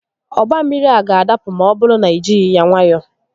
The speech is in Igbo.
Ọgba mmiri a ga-adapụ ma ọ bụrụ na i jighi ya nwayọọ